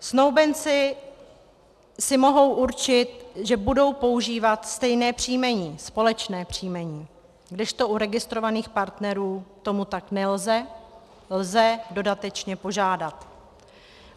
Snoubenci si mohou určit, že budou používat stejné příjmení, společné příjmení, kdežto u registrovaných partnerů tomu tak nelze, lze dodatečně požádat.